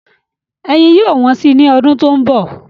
Ẹyin yóò wọ́n sí i ní ọdún tó ń bọ̀.